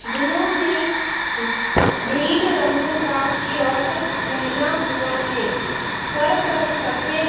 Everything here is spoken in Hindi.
जिन्होंने स ग्रीन रंग का शॉर्ट पहना हुआ है सर पर सफ़ेद--